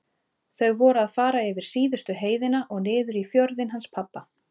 Þau voru að fara yfir síðustu heiðina og niður í fjörðinn hans pabba.